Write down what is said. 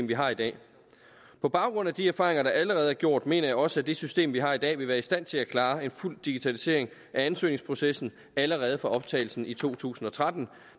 vi har i dag på baggrund af de erfaringer der allerede gjort mener jeg også at det system vi har i dag vil være i stand til at klare en fuld digitalisering af ansøgningsprocessen allerede fra optagelsen i to tusind og tretten